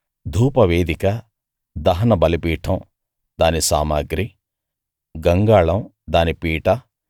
ధూపవేదిక దహన బలిపీఠం దాని సామగ్రి గంగాళం దాని పీట